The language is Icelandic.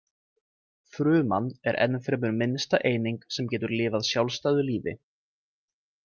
Fruman er ennfremur minnsta eining sem getur lifað sjálfstæðu lífi.